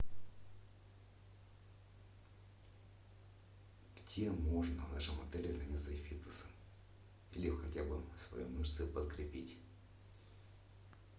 где можно в нашем отеле заняться фитнесом или хотя бы свои мышцы подкрепить